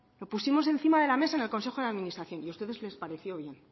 lo pusimos encima de la mesa en el consejo de administración y a ustedes les pareció bien